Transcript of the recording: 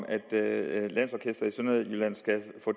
at lukke